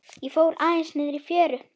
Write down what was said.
Ég fór aðeins niðrí fjöru.